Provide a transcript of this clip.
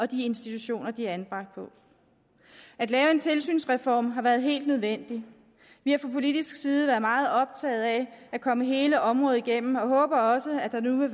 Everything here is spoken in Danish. de institutioner de er anbragt på at lave en tilsynsreform har været helt nødvendigt vi har fra politisk side været meget optaget af at komme hele området igennem og håber også at der nu vil